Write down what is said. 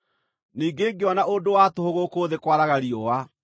Ningĩ ngĩona ũndũ wa tũhũ gũkũ thĩ kwaraga riũa: